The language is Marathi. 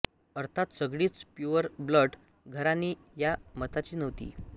अर्थात सगळीच प्युअर ब्लड घराणी या मताची नव्हती